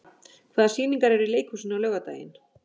Barbara, hvaða sýningar eru í leikhúsinu á laugardaginn?